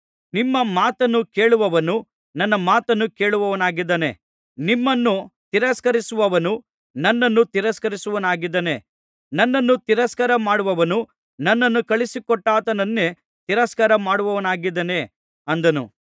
ನಿಮ್ಮ ಮಾತನ್ನು ಕೇಳುವವನು ನನ್ನ ಮಾತನ್ನು ಕೇಳುವವನಾಗಿದ್ದಾನೆ ನಿಮ್ಮನ್ನು ತಿರಸ್ಕರಿಸುವವನು ನನ್ನನ್ನು ತಿರಸ್ಕರಿಸುವವನಾಗಿದ್ದಾನೆ ನನ್ನನ್ನು ತಿರಸ್ಕಾರ ಮಾಡುವವನು ನನ್ನನ್ನು ಕಳುಹಿಸಿಕೊಟ್ಟಾತನನ್ನೇ ತಿರಸ್ಕಾರ ಮಾಡುವವನಾಗಿದ್ದಾನೆ ಅಂದನು